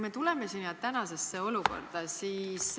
Tuleme tänasesse olukorda.